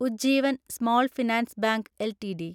Ujjivan small finance bank LTD